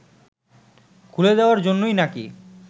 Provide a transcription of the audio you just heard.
খুলে দেওয়ার জন্যই নাকি